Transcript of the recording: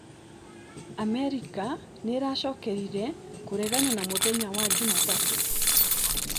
Amerikanĩracokerire kũregana na mũthenya wa Juma tatũ